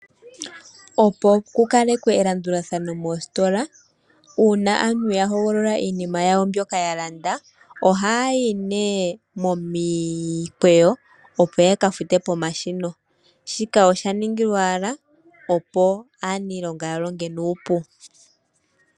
Opo kukalekwe elandulathano mositola, uuna aantu ya hogolola iinima yawo mbyoka yalanda, ohayayi nee momikweyo opo yakafute pomashina. Shika osha ningilwa owala opo aanilonga yalonge nuupu.